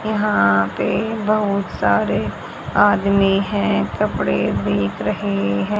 यहां पे बहुत सारे आदमी है कपड़े बेक रहे हैं।